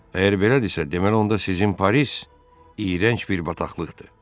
Əgər belədirsə, deməli onda sizin Paris iyrənc bir bataqlıqdır.